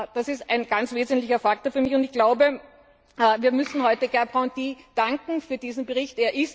Das ist ein ganz wesentlicher Faktor für mich, und ich glaube, wir müssen heute Herrn Gerbrandy danken für diesen Bericht.